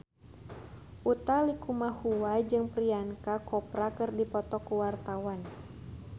Utha Likumahua jeung Priyanka Chopra keur dipoto ku wartawan